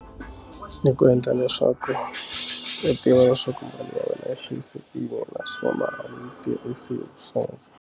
Ku endla leswaku u tiva leswaku mali ya wena yi hlayisekile naswona mali a wu yi tirhisi hi .